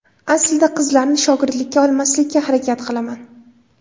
Aslida qizlarni shogirdlikka olmaslikka harakat qilaman.